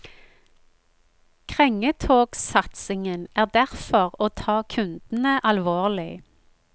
Krengetogsatsingen er derfor å ta kundene alvorlig.